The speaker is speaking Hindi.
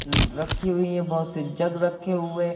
हम्म रखी हुई है बहोत सी जग रखे हुए है ।